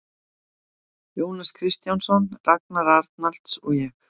Jónas Kristjánsson, Ragnar Arnalds og ég.